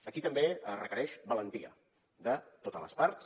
aquí també es requereix valentia de totes les parts